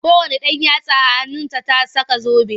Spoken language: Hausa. Kowanne yatsa a hannunta ta saka zobe.